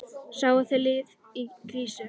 Sáuð þið lið í krísu?